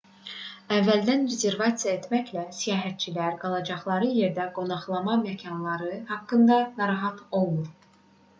əvvəldən rezervasiya etməklə səyahətçilər qalacaqları yerdə qonaqlama məkanları haqqında narahat olmur